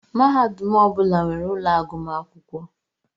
Mahadum ọbula nwèrè úlọ agụmakwụkwọ.